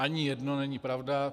Ani jedno není pravda.